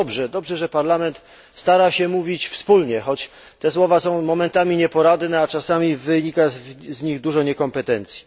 Dobrze, że Parlament stara się mówić wspólnie, choć te słowa są momentami nieporadne, a czasami wynika z nich dużo niekompetencji.